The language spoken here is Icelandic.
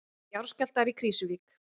Jarðskjálftar í Krýsuvík